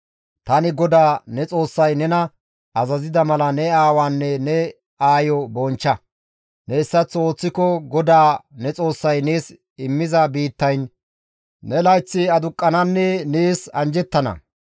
« ‹Tani GODAA ne Xoossay nena azazida mala ne aawaanne ne aayo bonchcha; ne hessaththo ooththiko GODAA ne Xoossay nees immiza biittayn ne layththi aduqqananne nees injjetana.